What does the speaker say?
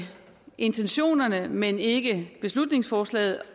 intentionerne men ikke beslutningsforslaget